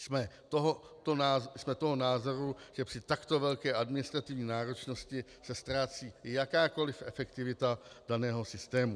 Jsme toho názoru, že při takto velké administrativní náročnosti se ztrácí jakákoliv efektivita daného systému.